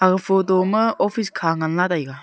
aga photo ma office kha ngan lah taega.